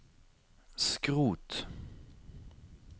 skrot